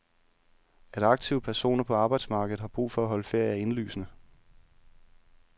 At aktive personer på arbejdsmarkedet har brug for at holde ferie, er indlysende.